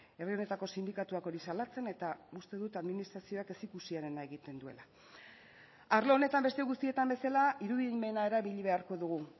herri honetako sindikatuak hori salatzen eta uste dut administrazioak ezikusiarena egiten duela arlo honetan beste guztietan bezala irudimena erabili beharko dugu